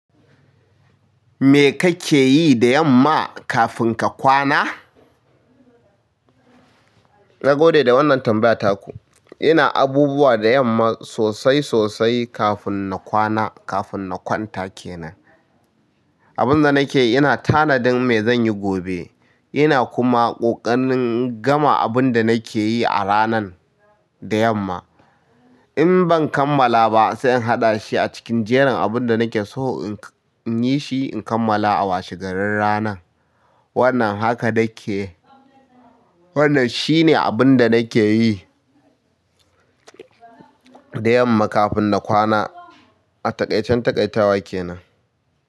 Me kake yi da yamma kafin ka kwana? Nagode da wannan tambaya taku. Ina abubuwa da yamma sosai sosai kafin na kwana, kafin na kwanta kenan. Abin da nake yi, ina tanadin me zan yi gobe. Ina kuma ƙoƙarin gama abin da nake yi a ranan da yamma. In ban kammala ba sai in haɗa shi a cikin jerin abin da nake so in yi shi, in kammala a washe garin ranan. Wannan haka nake. Wannan shine abin da nake yi da yamma kafin na kwana a taƙaican taƙaitawa kenan.